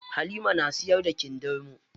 Halima na siyar da kindirmo.